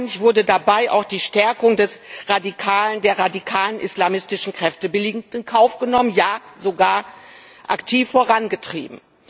Augenscheinlich wurde dabei auch die Stärkung der radikalen islamistischen Kräfte billigend in Kauf genommen, ja sogar aktiv vorangetrieben.